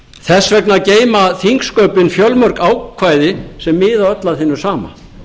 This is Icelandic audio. þess vegna geyma þingsköpin fjölmörg ákvæði sem miða öll að hinu sama